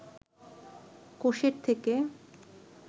কোষের থেকে